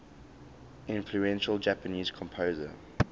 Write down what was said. influential japanese composer